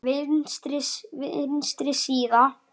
Vinstri síða